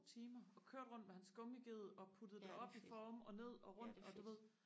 timer og kørte rundt med hans gummiged og puttede det op i forme og ned og rundt du ved